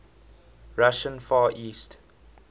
russian far east